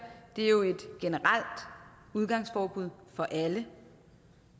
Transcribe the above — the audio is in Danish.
er jo et generelt udgangsforbud for alle